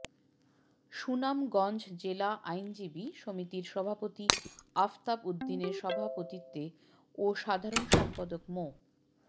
সুনামগঞ্জ জেলা আইনজীবী সমিতির সভাপতি আফতাব উদ্দিনের সভাপতিত্বে ও সাধারণ সম্পাদক মো